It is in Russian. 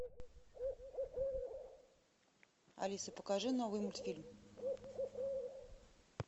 алиса покажи новый мультфильм